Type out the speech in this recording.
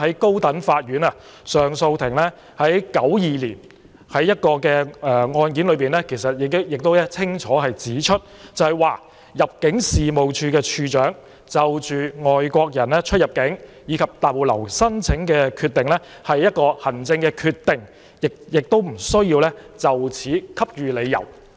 高等法院上訴法庭在1992年的一宗案件中已清楚指出，入境事務處處長就外國人出入境和逗留申請的決定是行政決定，不需就此給予理由。